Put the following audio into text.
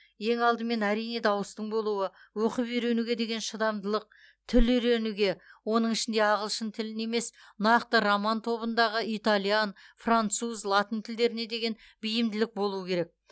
ең алдымен әрине дауыстың болуы оқып үйренуге деген шыдамдылық тіл үйренуге оның ішінде ағылшын тілін емес нақты роман тобындағы итальян француз латын тілдеріне деген бейімділік болу керек